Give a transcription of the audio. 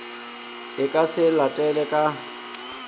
e ka se latele ka